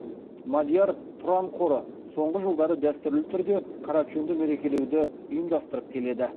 мадияр тұран қоры соңғы жылдары дәстүрлі түрде карачунді мерекелеуді ұйымдастырып келеді